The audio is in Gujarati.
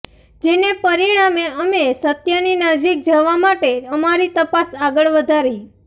જેને પરિણામે અમે સત્યની નજીક જવા માટે અમારી તપાસ આગળ વધારી